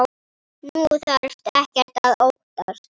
Þú þarft ekkert að óttast.